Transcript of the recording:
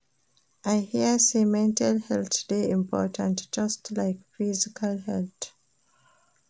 I hear sey mental health dey important just like your physical health.